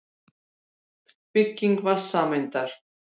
Bygging vatnssameindar.